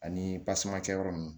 Ani yɔrɔ nunnu